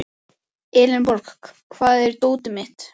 Elenborg, hvar er dótið mitt?